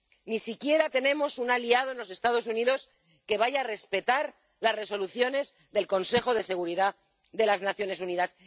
Ni siquiera tenemos un aliado en los Estados Unidos que vaya a respetar las Resoluciones del Consejo de Seguridad de las Naciones Unidas.